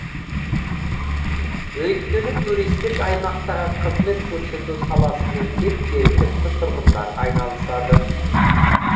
өйткені туристік аймақтағы қызмет көрсету саласымен тек жергілікті тұрғындар айналысады